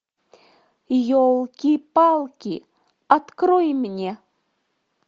елки палки открой мне